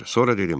Sonra dedim: